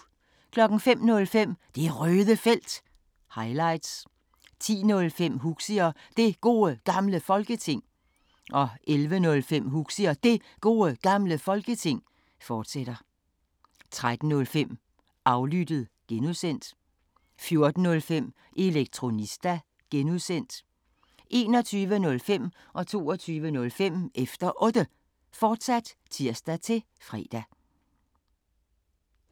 05:05: Det Røde Felt – highlights 10:05: Huxi og Det Gode Gamle Folketing 11:05: Huxi og Det Gode Gamle Folketing, fortsat 13:05: Aflyttet (G) 14:05: Elektronista (G) 21:05: Efter Otte, fortsat (tir-fre) 22:05: Efter Otte, fortsat (tir-fre)